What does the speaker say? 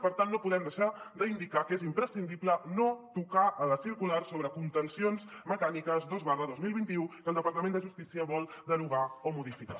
per tant no podem deixar d’indicar que és imprescindible no tocar la circular sobre connotacions mecàniques dos dos mil vint u que el departament de justícia vol derogar o modificar